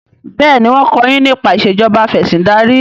béèni wón ko yín nípa Ìṣèjọba Afẹ̀sìndarí.